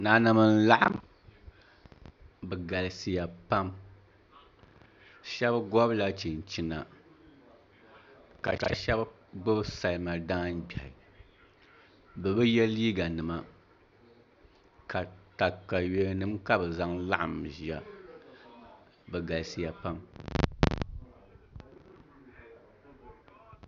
Nanim n laɣam bi galisiya pam shab gobila chinchina ka shab gbubi salima daangbiɣi bi bi yɛ liiga nima katawiya nim ka bi zaŋ laɣam ʒiya bi galisiya pam